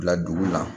Bila dugu la